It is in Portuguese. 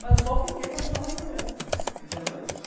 Mas eu só fiquei para ajudar mais dinheiro, entendeu?